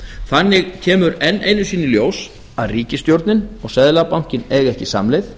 þannig kemur enn einu sinni í ljós að ríkisstjórnin og seðlabankinn eiga ekki samleið